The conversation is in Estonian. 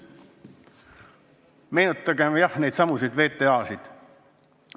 Meenutagem kas või neidsamu VTA-sid!